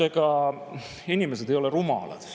Ega inimesed ei ole rumalad.